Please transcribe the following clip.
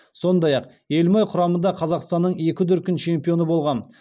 сондай ақ елімай құрамында қазақстанның екі дүркін чемпионы болған